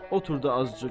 Otur da azcıq.